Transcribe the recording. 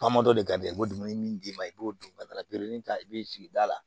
Faama dɔ de ka di ye i b'o dumuni min d'i ma i b'o don ka taa ta i bɛ sigida la